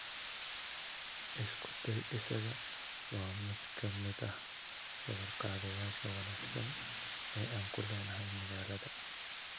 Isku day isaga waa midka midah sawir qaadayaasha wanaagsan ee aanku leenahay magaalada.